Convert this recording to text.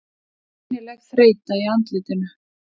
Greinileg þreyta í andlitinu.